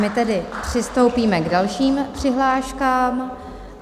My tedy přistoupíme k dalším přihláškám.